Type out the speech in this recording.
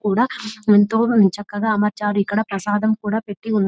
కూడా ఎంతో చక్కగా అమర్చారు ఇక్కడ ప్రసాదం కూడా పెట్టి ఉంది.